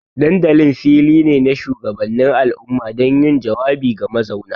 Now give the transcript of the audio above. Dandalin fili ne na shugabannin al'umma don yin jawabi ga mazauna.